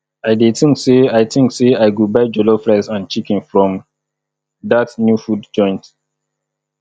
i dey think say i think say i go buy jollof rice and chicken from dat new food joint